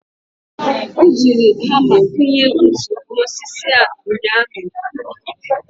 o jiri hama kụnye ntu n'osisi a ụnyaahụ.